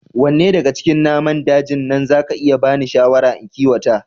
Wanne daga cikin naman dajin nan za ka iya bani shawara in kiwata